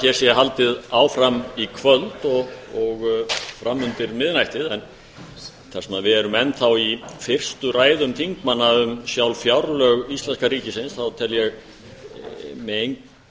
hér sé haldið áfram í kvöld og framundir miðnættið en þar sem við erum enn þá í fyrstu ræðum þingmanna um sjálf fjárlög íslenska ríkisins þá tel ég með engum